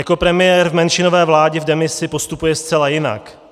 Jako premiér v menšinové vládě v demisi postupuje zcela jinak.